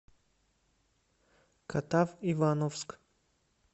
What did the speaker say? катав ивановск